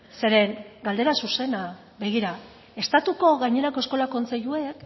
zeren galdera zuzena begira estatuko gainerako eskola kontseiluek